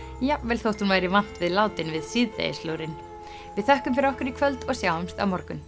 jafnvel þótt hún væri vant við látin við síðdegislúrinn við þökkum fyrir okkur í kvöld og sjáumst á morgun